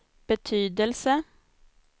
betydelse